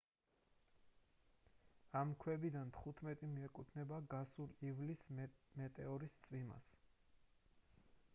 ამ ქვებიდან თხუთმეტი მიეკუთვნება გასული ივლისის მეტეორის წვიმას